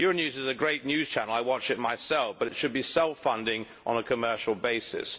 Euronews is a great news channel I watch it myself but it should be self funding on a commercial basis.